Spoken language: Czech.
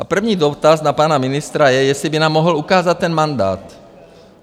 A první dotaz na pana ministra je, jestli by nám mohl ukázat ten mandát.